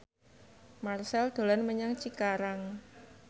Marchell dolan menyang Cikarang